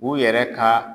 U yɛrɛ ka